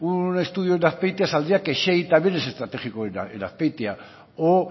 un estudio en azpeitia saldría que xey también es estratégico en azpeitia o